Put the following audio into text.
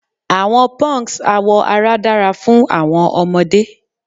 Awọn punks awọ ara dara fun awọn ọmọde